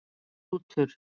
Rútur